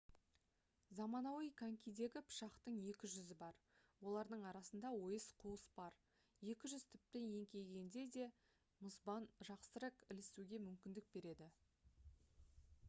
заманауи конькидегі пышақтың екі жүзі бар олардың арасында ойыс қуыс бар екі жүз тіпті еңкейгенде де мұзбен жақсырақ ілінісуге мүмкіндік береді